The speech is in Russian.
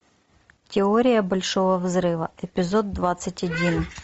теория большого взрыва эпизод двадцать один